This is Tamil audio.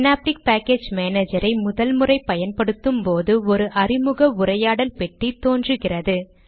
ஸினாப்டிக் பேக்கேஜ் மானேஜரை முதல் முறை பயன்படுத்தும் போது ஒரு அறிமுக உரையாடல் பெட்டி தோன்றுகிறது